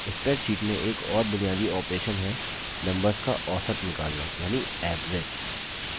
spreadsheet में एक और बुनियादी operation है numbers का औसत निकलना यानि average